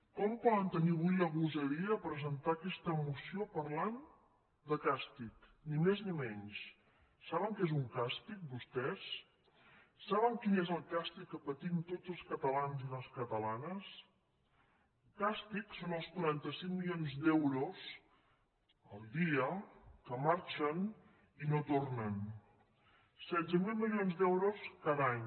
com poden tenir avui la gosadia de presentar aquesta moció parlant de càstig ni més ni menys saben què és un càstig vos·tès saben quin és el càstig que patim tots els catalans i les catalanes càstig són els quaranta cinc milions d’euros al dia que marxen i no tornen setze mil milions d’euros cada any